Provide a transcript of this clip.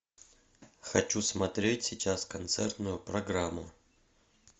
хочу смотреть сейчас концертную программу